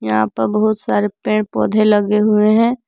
यहां प बहुत सारे पेड़ पौधे लगे हुए हैं।